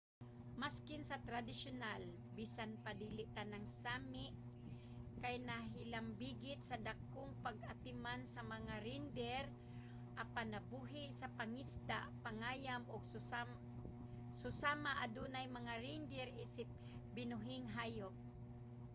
maskin sa tradisyonal bisan pa dili tanang sámi kay nahilambigit sa dakong pag-atiman sa mga reindeer apan nabuhi sa pangisda pangayam ug susama adunay mga reindeer isip binuhing hayop